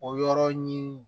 O yɔrɔ ɲini